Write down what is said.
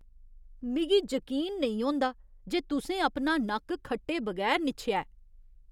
मिगी जकीन नेईं होंदा जे तुसें अपना नक्क खट्टे बगैर निच्छेआ ऐ।